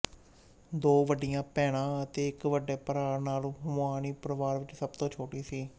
ਦੋ ਵੱਡੀਆਂ ਭੈਣਾਂ ਅਤੇ ਇੱਕ ਵੱਡੇ ਭਰਾ ਨਾਲ ਹੁਮੁਆਨੀ ਪਰਿਵਾਰ ਵਿੱਚ ਸਭ ਤੋਂ ਛੋਟੀ ਸੀ